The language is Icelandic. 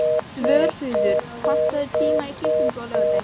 Svörfuður, pantaðu tíma í klippingu á laugardaginn.